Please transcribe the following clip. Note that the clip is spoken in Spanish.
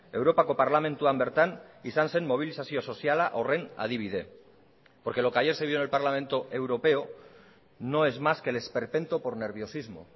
europako parlamentuan bertan izan zen mobilizazio soziala horren adibide porque lo que ayer se dio en el parlamento europeo no es más que el esperpento por nerviosismo